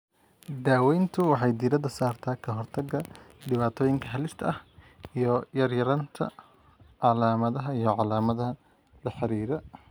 Daaweyntu waxay diiradda saartaa ka hortagga dhibaatooyinka halista ah iyo yaraynta calaamadaha iyo calaamadaha la xidhiidha.